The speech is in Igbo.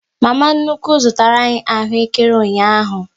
Mama nnukwu zụtara anyị ahụekere ụnyaahụ